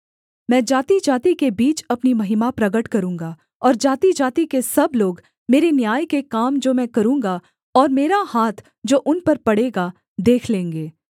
मैं जातिजाति के बीच अपनी महिमा प्रगट करूँगा और जातिजाति के सब लोग मेरे न्याय के काम जो मैं करूँगा और मेरा हाथ जो उन पर पड़ेगा देख लेंगे